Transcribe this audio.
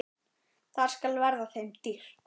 Það skal verða þeim dýrt!